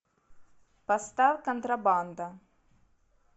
поставь контрабанда